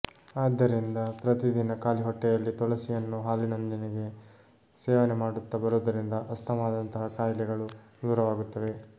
ಆದ್ದರಿಂದ ಪ್ರತಿದಿನ ಖಾಲಿಹೊಟ್ಟೆಯಲ್ಲಿ ತುಳಸಿಯನ್ನು ಹಾಲಿನೊಂದಿಗೆ ಸೇವನೆ ಮಾಡುತ್ತ ಬರುವುದರಿಂದ ಅಸ್ತಮಾದಂತಹ ಕಾಯಿಲೆಗಳು ದೂರವಾಗುತ್ತವೆ